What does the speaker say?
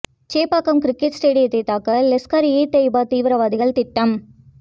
Chepauk cricket ஸ்டேடியத்தை தகர்க்க லஸ்கர் இ தொய்பா தீவிரவாதிகள் திட்டம்